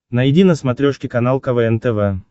найди на смотрешке канал квн тв